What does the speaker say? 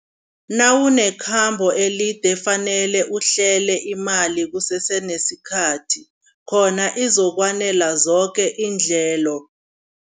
Nawunekhambo elide fanele uhlele imali kusesenesikhathi khona izokwanela zoke iindleko.